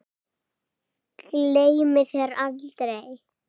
Gleymi þér aldrei.